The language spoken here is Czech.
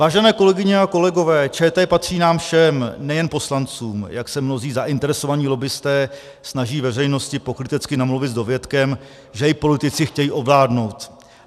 Vážené kolegyně a kolegové, ČT patří nám všem, nejen poslancům, jak se mnozí zainteresovaní lobbisté snaží veřejnosti pokrytecky namluvit s dovětkem, že ji politici chtějí ovládnout.